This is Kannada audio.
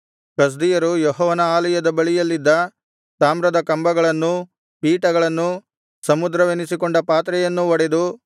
ಕಸ್ದೀಯರು ಯೆಹೋವನ ಆಲಯದ ಬಳಿಯಲ್ಲಿದ್ದ ತಾಮ್ರದ ಕಂಬಗಳನ್ನೂ ಪೀಠಗಳನ್ನೂ ಸಮುದ್ರವೆನಿಸಿಕೊಂಡ ಪಾತ್ರೆಯನ್ನೂ ಒಡೆದು